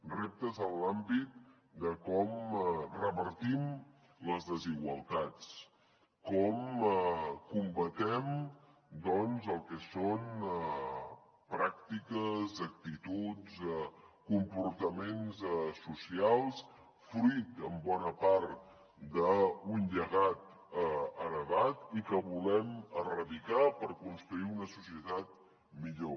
reptes en l’àmbit de com revertim les desigualtats com combatem doncs el que són pràctiques actituds comportaments socials fruit en bona part d’un llegat heretat i que volem erradicar per construir una societat millor